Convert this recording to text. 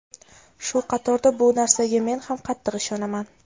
Shu qatorda bu narsaga men ham qattiq ishonaman.